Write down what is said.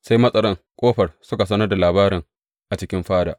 Sai matsaran ƙofar suka sanar da labarin a cikin fada.